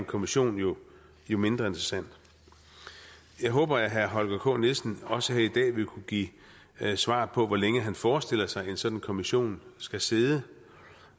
kommission jo jo mindre interessant jeg håber at herre holger k nielsen også her i dag vil kunne give svar på hvor længe han forestiller sig at en sådan kommission skal sidde